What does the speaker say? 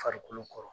Farikolo kɔrɔ